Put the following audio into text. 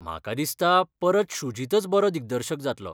म्हाका दिसता परत शुजितच बरो दिग्दर्शक जातलो.